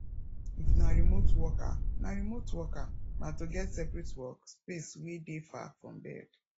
if na remote worker na remote worker na to get seperate work space wey dey far from bed